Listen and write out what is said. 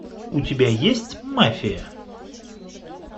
у тебя есть мафия